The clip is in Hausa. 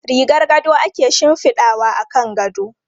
Rigar gado ake shifidawa akan gado.